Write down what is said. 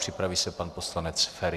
Připraví se pan poslanec Feri.